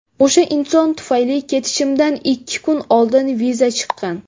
O‘sha inson tufayli ketishimdan ikki kun oldin viza chiqqan.